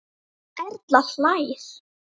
Erla hlær.